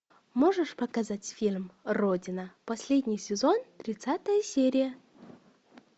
можешь показать фильм родина последний сезон тридцатая серия